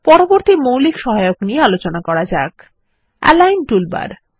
পরবর্তী মৌলিক সহায়ক নিয়ে আলোচনা করা যাক এলাইন টুলবার